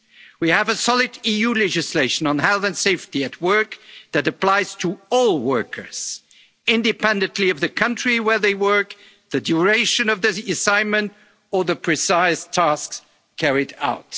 fail our citizens. We have solid EU legislation on health and safety at work that applies to all workers, independently of the country where they work, the duration of the assignment or the precise